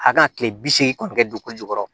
A kan ka kile bi seegin kɔni kɛ don ko jukɔrɔ